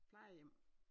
Plejehjem